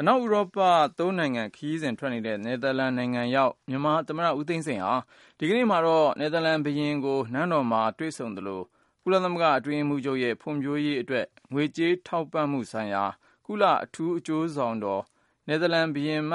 အနောက်ဥရောပ ၃ နိုင်ငံ ခရီးစဉ်ထွက်နေတဲ့ နယ်သာလန်ရောက် မြန်မာသမ္မတ ဦးသိန်းစိန်ဟာ ဒီကနေ့မှာတော့ နယ်သာလန်ဘုရင်ကို နန်းတော်မှာ တွေ့ဆုံသလို ကုလသမဂ္ဂ အတွင်းရေးမှူးချုပ်ရဲ့ ဖွံ့ဖြိုးရေးအတွက် ငွေကြေးထောက်ပံ့မှုဆိုင်ရာ ကုလအထူးအကျိုးတော်ဆောင် နယ်သာလန် ဘုရင်မ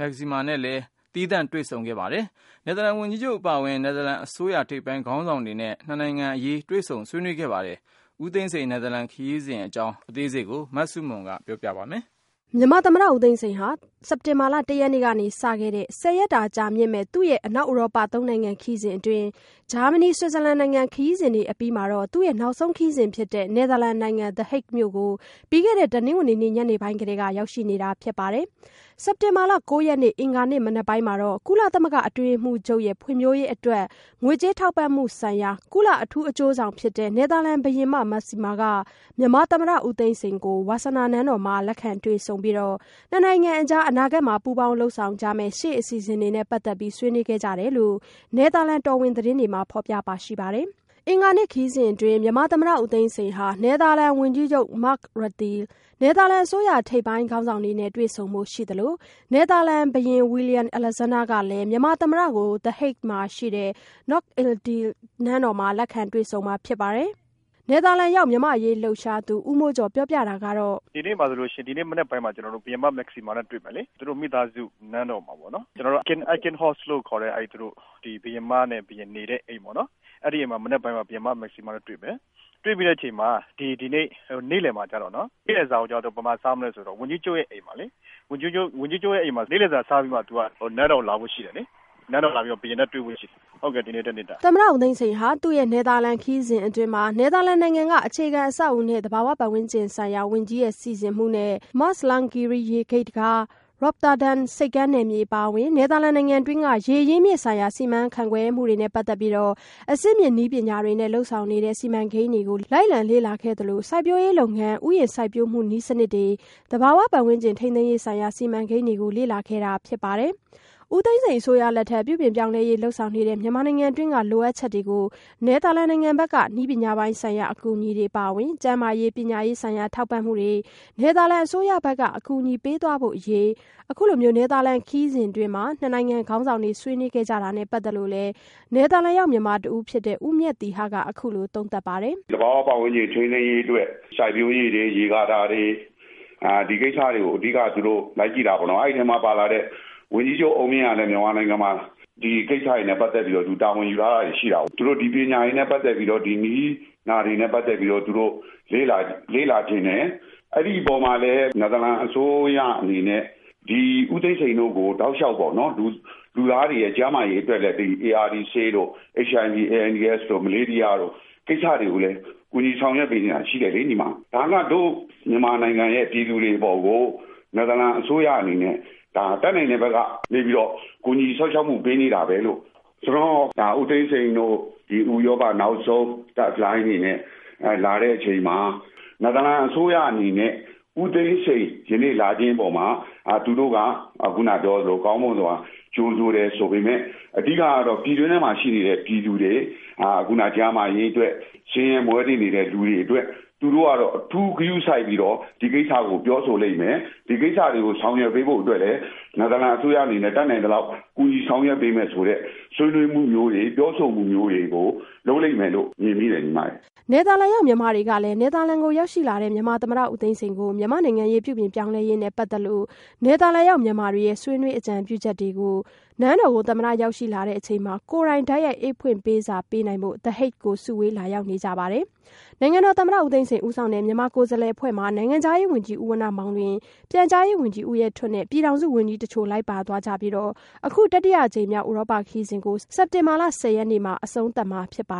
Maxima နဲ့လည်း သီးသန့် တွေ့ဆုံခဲ့ပါတယ်။ နယ်သာလန်ဝန်ကြီးချုပ် အပါအဝင် နယ်သာလန်အစိုးရ ထိပ်ပိုင်းခေါင်းဆောင်တွေနဲ့ နှစ်နိုင်ငံ အရေး တွေ့ဆုံ ဆွေးနွေးပါတယ်။ ဦးသိန်းစိန်ရဲ့ နယ်သာလန်ခရီးစဉ် အသေးစိတ် မဆုမွန် တင်ပြထားပါတယ်။ မြန်မာသမ္မတ ဦးသိန်းစိန်ဟာ စက်တင်ဘာလ ၁ ရက်နေ့ကစခဲ့တဲ့ ဆယ်ရက်တာကြာမြင့်မယ့် သူ့ရဲ့ အနောက်ဥရောပ ၃ နိုင်ငံခရီးစဉ်အတွင်း ဂျာမနီ၊ ဆွစ်ဇာလန်နိုင်ငံ ခရီးစဉ်တွေ အပြီးမှာတော့ သူ့ရဲ့ နောက်ဆုံးခရီးစဉ်ဖြစ်တဲ့ နယ်သာလန်နိုင်ငံ The Hague မြို့ကို ပြီးခဲ့တဲ့ တနင်္ဂနွေနေ့ ညနေပိုင်းကတည်းက ရောက်ရှိနေတာ ဖြစ်ပါတယ်။ စက်တင်ဘာလ ၉ ရက်နေ့ အင်္ဂါနေ့ မနက်ပိုင်းမှာတော့ ကုလသမဂ္ဂ အတွင်းရေးမှူးချုပ်ရဲ့ ဖွံ့ဖြိုးရေးအတွက် ငွေကြေးထောက်ပံ့မှုဆိုင်ရာ ကုလအထူးအကျိုးတော်ဆောင်လည်းဖြစ်တဲ့ နယ်သာလန်ဘုရင်မ Maxima က မြန်မာသမ္မတ ဦးသိန်းစိန်ကို Wassenaar နန်းတော်မှာ လက်ခံတွေ့ဆုံပြီး နှစ်နိုင်ငံအကြား အနာဂတ်မှာ ပူးပေါင်း လုပ်ဆောင်ကြမယ့် ရှေ့အစီအစဉ်တွေနဲ့ ပတ်သက်လို့ ဆွေးနွေးခဲ့ကြပါတယ်လို့ နယ်သာလန် တော်ဝင်သတင်းတွေမှာ ဖော်ပြပါရှိပါတယ်။ အင်္ဂါနေ့ခရီးစဉ်အတွင်း မြန်မာသမ္မတ ဦးသိန်းစိန်ဟာ နယ်သာလန် ဝန်ကြီးချုပ် Mark Rutte၊ နယ်သာလန်အစိုးရ ထိပ်ပိုင်းခေါင်းဆောင်တွေနဲ့ တွေ့ဆုံသလို နယ်သာလန်ဘုရင် Willem-Alexander ကလည်း မြန်မာသမ္မတကို The Hague မှာရှိတဲ့ Noordeinde နန်းတော်မှာ လက်ခံ တွေ့ဆုံပါတယ်။ နယ်သာလန်ရောက် မြန်မာ့အရေးလှုပ်ရှားသူ ဦးမိုးကျော် ပြောပြတာကတော့- “ဒီနေ့မနက်ပိုင်း ကျနော်တို့ ဘုရင်မ Maxima နဲ့ တွေ့မယ်လေ။ သူတို့မိသားစု နန်းတော်မှာပေါ့နော်။ Eikenhorst လို့ခေါ်တဲ့ ဘုရင်မနဲ့ ဘုရင်နေတဲ့အိမ်ပေါ့နော်။ အဲ့ဒီအိမ်မှာ မနက်ပိုင်းမှာ ဘုရင်မ Maxima နဲ့တွေ့မယ်။ တွေ့ပြီးတဲ့အချိန်မှာ ဒီနေ့ နေ့လည်မှာကျတော့ နေ့လည်စာကို ဘယ်မှာစားမလဲဆိုတော့ ဝန်ကြီးချုပ်ရဲ့အိမ်မှာလေ နေ့လည်စာ စားပြီးတော့ နန်းတော်ကို လာဖို့ရှိတယ်။ နန်းတော်ကို လာပြီးတော့ ဘုရင်နဲ့တွေ့ဖို့ရှိတယ်။ ဟုတ်ကဲ့ ဒီနေ့ တနေ့တာ။” သမ္မတဦးသိန်းစိန်ဟာ သူ့ရဲ့နယ်သာလန် ခရီးစဉ်အတွင်းမှာ နယ်သာလန်နိုင်ငံက အခြေခံအဆောက်အအုံနဲ့ သဘာဝပတ်ဝန်းကျင်ဆိုင်ရာ ဝန်ကြီးရဲ့စီစဉ်မှုနဲ့ Maeslantkering ရေဂိတ်တံခါး၊ Rotterdam ဆိပ်ကမ်းနယ်မြေ အပါအဝင် နယ်သာလန်နိုင်ငံတွင်းက ရေအရင်းအမြစ်ဆိုင်ရာ စီမံခန့်ခွဲမှုနဲ့ ပတ်သက်ပြီး အဆင့်မြင့်နည်းပညာတွေနဲ့ လုပ်ဆောင်နေတဲ့စီမံကိန်းတွေကို လိုက်လံလေ့လာခဲ့သလို စိုက်ပျိုးရေးလုပ်ငန်း၊ ဥယျာဉ်စိုက်ပျိုးမှုနည်းစနစ်တွေ၊ သဘာဝပတ်ဝန်းကျင် ထိန်းသိမ်းရေး စီမံကိန်းတွေကို လေ့လာခဲ့တာ ဖြစ်ပါတယ်။ ဦးသိန်းစိန်အစိုးရလက်ထက် ပြုပြင်ပြောင်းလဲရေး လုပ်ဆောင်နေတဲ့ မြန်မာနိုင်ငံတွင်း လိုအပ်ချက်တွေကို နယ်သာလန်နိုင်ငံက နည်းပညာပိုင်းဆိုင်ရာ အကူအညီတွေ အပါအဝင် ကျန်းမာရေး၊ ပညာရေးဆိုင်ရာ ထောက်ပံ့မှုတွေ နယ်သာလန်အစိုးရဘက်က ကူညီပေးသွားဖို့အရေး အခုလို နယ်သာလန်နိုင်ငံ ခရီးစဉ်အတွင်း နှစ်နိုင်ငံခေါင်းဆောင်တွေ ဆွေးနွေးခဲ့ကြတာနဲ့ ပတ်သက်လို့လည်း နယ်သာလန်ရောက် မြန်မာတဦးဖြစ်တဲ့ ဦးမြတ်သီဟက အခုလို သုံးသပ်ပါတယ်။ “သဘာဝပတ်ဝန်းကျင် ထိန်းသိမ်းရေးအတွက် စိုက်ပျိုးရေးတွေ၊ ရေကာတာတွေ ဒီကိစ္စတွေကို အဓိက သူတို့ လိုက်ကြည့်တာပေါ့နော်။ အဲ့ဒီထဲမှာပါလာတဲ့ ဝန်ကြီးချုပ်အုန်းမြင့်ကလည်း မြန်မာနိုင်ငံမှာ ဒီကိစ္စတွေနဲ့ ပတ်သက်ပြီးတော့ သူ တာဝန်ယူထားတာတွေ ရှိတာပေါ့နော်။ သူတို့ ဒီပညာတွေနဲ့ ပတ်သက်ပြီးတော့ ဒီနည်းနာတွေနဲ့ ပတ်သက်ပြီးတော့ လေ့လာချင်တယ်။ အဲ့ဒီအပေါ်မှာလည်း နယ်သာလန်အစိုးရအနေနဲ့ ဦးသိန်းစိန်တို့ကို တောက်လျှောက်ပေါ့နော် လူသားတွေရဲ့ ကျန်းမာရေးအတွက် ARV ဆေးတို့၊ HIV/AIDS တို့ Malaria တို့ ကိစ္စတွေကိုလည်း ကူညီဆောင်ရွက်ပေးနေတာ ရှိတယ်လေ ဒီမှာ။ ဒါမှ တို့မြန်မာနိုင်ငံရဲ့ ပြည်သူတွေအပေါ်ကို နယ်သာလန်အစိုးရအနေနဲ့ တတ်နိုင်တဲ့ဘက်ကနေပြီးတော့ ကူညီစောင့်ရှောက်မှု ပေးနေတာပဲလို့ ဆိုတော့ ဒါ ဦးသိန်းစိန်တို့ ဒီဥရောပနောက်ဆုံး Deadline အနေနဲ့ လာတဲ့အချိန်မှာ နယ်သာလန်အစိုးရအနေနဲ့ ဦးသိန်းစိန် ယနေ့ လာခြင်းအပေါ်မှာ သူတို့က ခုနပြောသလို ကောင်းမွန်စွာ ကြိုဆိုတယ်ဆိုပေမဲ့ အဓိကကတော့ ပြည်တွင်းထဲမှာရှိနေတဲ့ ပြည်သူတွေ ခုန ကျန်းမာရေးအတွက် ဆင်းရဲမွဲတေနေတဲ့ သူတွေအတွက် သူတို့ကတော့ အထူး ဂရုစိုက်ပြီးတော့ ဒီကိစ္စကို ပြောဆိုလိမ့်မယ်။ ဒီကိစ္စတွေကို ဆောင်ရွက်ပေးဖို့အတွက်လည်း နယ်သာလန်အစိုးရအနေနဲ့ တတ်နိုင်သလောက် ကူညီဆောင်ရွက်ပေးမယ်ဆိုတဲ့ ဆွေးနွေးမှုမျိုးတွေ ပြောဆိုမှုမျိုးတွေကို လုပ်လိမ့်မယ်လို့ မြင်မိတယ် ညီမရယ်။” နယ်သာလန်ရောက် မြန်မာတွေကလည်း နယ်သာလန်ကို ရောက်ရှိလာတဲ့ မြန်မာသမ္မတ ဦးသိန်းစိန်ကို မြန်မာ့နိုင်ငံရေး ပြုပြင်ပြောင်းလဲရေးနဲ့ ပတ်သက်လို့ နယ်သာလန်ရောက် မြန်မာတွေရဲ့ ဆွေးနွေးအကြံပြုချက်တွေကို နန်းတော်ကို သမ္မတရောက်ရှိလာချိန် ကိုယ်တိုင် တိုက်ရိုက် အိတ်ဖွင့်ပေးစာ ပေးနိုင်ဖို့ The Hague ကို စုဝေး လာရောက်နေကြပါတယ်။ နိုင်ငံတော်သမ္မတ ဦးသိန်းစိန် ဦးဆောင်တဲ့ မြန်မာကိုယ်စားလှယ်အဖွဲ့မှာ နိုင်ငံခြားရေးဝန်ကြီး ဦးဝဏ္ဏမောင်လွင်၊ ပြန်ကြားရေးဝန်ကြီး ဦးရဲထွဋ်၊ ပြည်ထောင်စုဝန်ကြီးတချို့ လိုက်ပါသွားကြပြီး အခု တတိယအကြိမ်မြောက် ဥရောပခရီးစဉ်ကိုတော့ စက်တင်ဘာ ၁၀ ရက်နေ့မှာ အဆုံးသတ်မှာ ဖြစ်ပါ